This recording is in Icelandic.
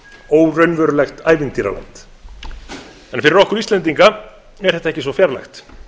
óraunverulegt ævintýraland en fyrir okkur íslendinga er þetta ekki svo fjarlægt